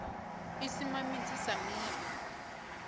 ḓi sima midzi sa miri